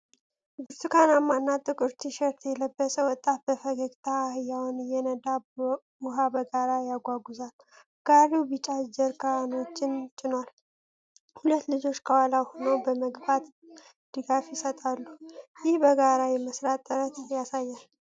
ብርቱካናማና ጥቁር ቲሸርት የለበሰ ወጣት በፈገግታ አህያውን እየነዳ ውሃ በጋሪ ያጓጉዛል። ጋሪው ቢጫ ጀሪካኖችን ጭኗል፣ ሁለት ልጆች ከኋላ ሆነው በመግፋት ድጋፍ ይሰጣሉ። ይህ በጋራ የመስራትን ጥረት ያሳያል።